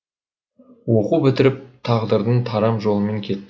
оқу бітіріп тағдырдың тарам жолымен кеттік